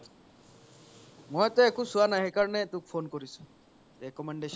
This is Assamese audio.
মই এতিয়া একো ছোৱা নাই সেই কাৰনে তোক phone কৰিছো recommendation